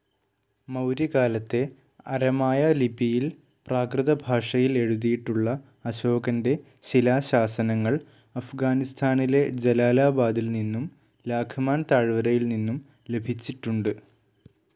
മൗര്യകാലത്തെ അരമായ ലിപിയിൽ പ്രാകൃതഭാഷയിൽ എഴുതിയിട്ടുള്ള അശോകന്റെ ശിലാശാസനങ്ങൾ അഫ്ഗാനിസ്താനിലെ ജലാലാബാദിൽ നിന്നും ലാഘ്മാൻ താഴ്വരയിൽ നിന്നും ലഭിച്ചിട്ടുണ്ട്.